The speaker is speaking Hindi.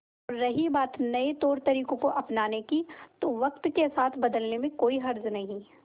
और रही बात नए तौरतरीकों को अपनाने की तो वक्त के साथ बदलने में कोई हर्ज नहीं